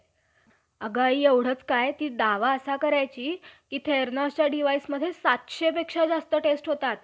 बरे, तो गर्भ आमच्या मुखात संभावल्या दिवसापासून, नऊ महिलांच्या होई~ होईतो पावतो. कोणत्या ठिकाणी राहू टाकला,